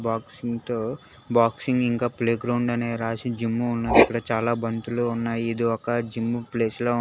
బాక్సింగ్తో boxing ఇంకా play ground అనే రాసి జిమ్ము ఉన్నది ఇక్కడ చాలా బంతులు ఉన్నాయి ఇది ఒక జిమ్ ప్లేస్ లా ఉం--